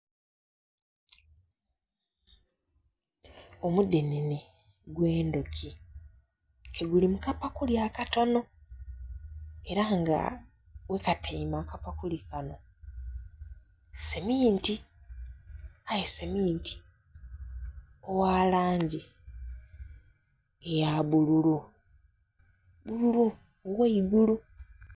Omudhenhenhe gwe endhuki ke guli mukapakuli akatono era nga ghakatyaime akapakuli kano seminti aye seminti ogha langi eya bbululu, bbululu ogh'eigulu.